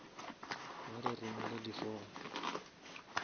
ba re romele di form